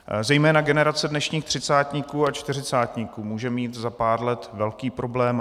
Zejména generace dnešních třicátníků a čtyřicátníků může mít za pár let velký problém.